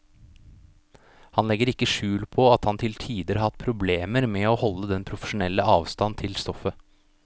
Han legger ikke skjul på at han til tider har hatt problemer med å holde den profesjonelle avstand til stoffet.